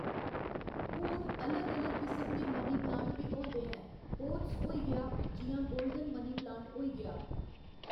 हून अलग अलग किस्म दे मनी प्लांट बी होंदे ऐं ओथ्स होई गेआ जि'यां गोल्डन मनी प्लांट होई गेआ